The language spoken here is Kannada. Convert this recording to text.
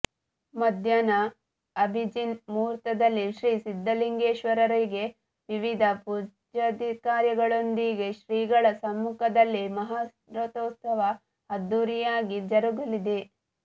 ಮಧ್ಯಾಹ್ನ ಅಭಿಜಿನ್ ಮುಹೂರ್ತದಲ್ಲಿ ಶ್ರೀ ಸಿದ್ಧಲಿಂಗೇಶ್ವರರಿಗೆ ವಿವಿಧ ಪೂಜಾದಿಕಾರ್ಯಗಳೊಂದಿಗೆ ಶ್ರೀಗಳ ಸಮ್ಮುಖದಲ್ಲಿ ಮಹಾರಥೋತ್ಸ ಅದ್ದೂರಿಯಾಗಿ ಜರುಗಲಿದೆ